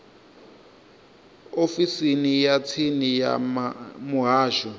ofisini ya tsini ya muhasho